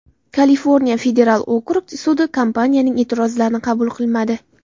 Kaliforniya federal okrug sudi kompaniyaning e’tirozlarini qabul qilmadi.